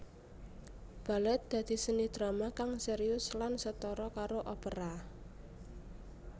Balèt dadi seni drama kang sérius lan setara karo opera